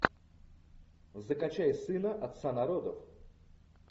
закачай сына отца народов